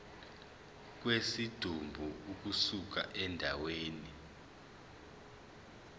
kwesidumbu ukusuka endaweni